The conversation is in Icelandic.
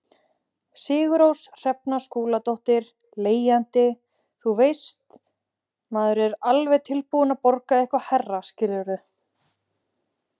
Sigurrós Hrefna Skúladóttir, leigjandi: Þú veist, maður er alveg tilbúin að borga eitthvað hærra skilurðu?